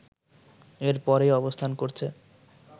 এর পরেই অবস্থান করছে